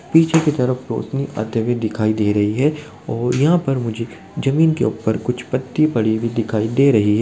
पीछे की तरफ रोशनी आते हुए दिखाई दे रही है और यहाँ पर मुझे जमीन के ऊपर कुछ पत्ती पड़ी हुई दिखाई दे रही --